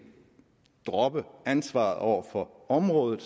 droppe ansvaret over for området